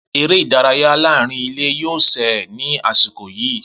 Eré ìdárayá láàárín ilé yóò ṣe é ní àsìkò yìí.